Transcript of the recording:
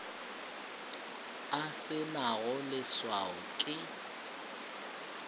e se nago leswao ke